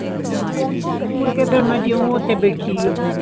ਮੁੜਕੇ ਫੇਰ ਮਈ ਜਿਯੋ ਓਥੇ ਬੈਠੀ ਰਹੀ